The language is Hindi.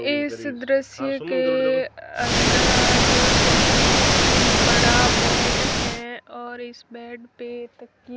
इस दृश्य के अंदर बहुत ही बड़ा बेड है और इस बेड पर तकिये--